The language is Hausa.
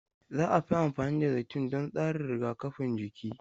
Za a fi amfani da zaitun don tsarin rigakafin jiki.